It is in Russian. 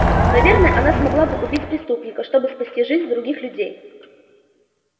наверное она смогла бы убить преступника чтобы спасти жизнь других людей